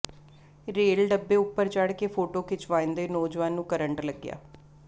rail ਡੱਬੇ ਉਪਰ ਚੜ੍ਹ ਕੇ ਫੋਟੋ ਖਿਚਵਾਉਂਦੇ ਨੌਜਵਾਨ ਨੂੰ ਕਰੰਟ ਲੱਗਿਆ